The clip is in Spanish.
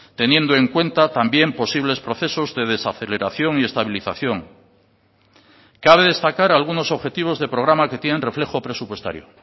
teniendo en cuenta también posibles procesos de desaceleración y estabilización cabe destacar algunos objetivos de programa que tienen reflejo presupuestario